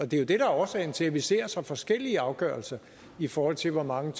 det der er årsagen til at vi ser så forskellige afgørelser i forhold til hvor mange